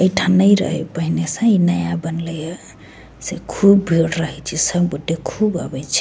ऐठा नहीं रहे पहले से ई नया बनलइ हे से खूब भीड़ रहइ छई सब गोटे खूब आवी छे।